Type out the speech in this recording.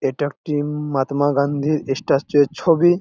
এইটা একটি মহাত্মা গান্ধী স্ট্যাচু